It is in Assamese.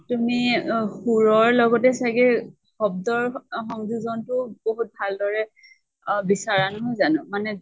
তুমি অ সুৰৰ লগতে চাগে শব্দৰ সংযোজন তো বহুত ভাল দৰে আ বিচাৰা নহয় জানো ? মানে